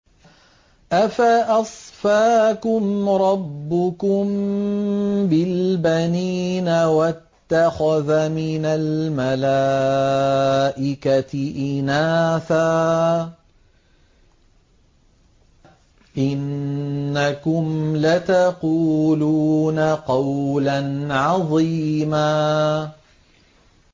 أَفَأَصْفَاكُمْ رَبُّكُم بِالْبَنِينَ وَاتَّخَذَ مِنَ الْمَلَائِكَةِ إِنَاثًا ۚ إِنَّكُمْ لَتَقُولُونَ قَوْلًا عَظِيمًا